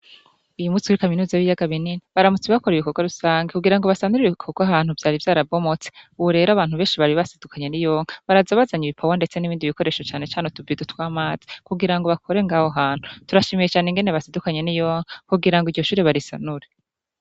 Iyi mutsi wri kaminuza b'iyagabinini baramuts bakora ibikorwa rusange kugira ngo basanuriwe korwo ahantu vyari vyarabomotse uwurero abantu benshi bari basidukanye n'i yonka barazabazanya ibipawa, ndetse n'ibindi bikoresho canecane tuvaido tw'amazi kugira ngo bakore ngaho hantu turashimiye cane ingene basidukanye n'iyonkaa kugira ngo iryo shure barisanure.